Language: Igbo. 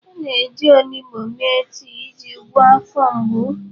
A na-eji onugbu mee tii iji gwọọ afọ mgbu.